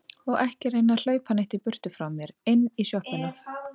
Og ekki reyna að hlaupa neitt í burtu frá mér. inn í sjoppuna!